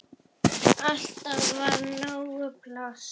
Alltaf var nóg pláss.